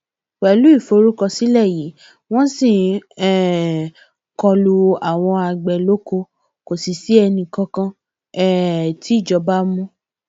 pẹlú ìforúkọsílẹ yìí wọn ṣì ń um kọ lu àwọn àgbẹ lóko kò sì sí ẹnìkan kan um tìjọba mú